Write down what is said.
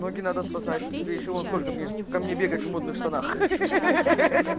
ноги надо спасать тебе ещё вон сколько мне ко мне бегать в модных штанах ха-ха